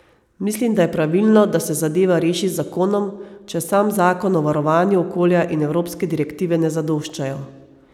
Mislim, da je pravilno, da se zadeva reši z zakonom, če sam zakon o varovanju okolja in evropske direktive ne zadoščajo.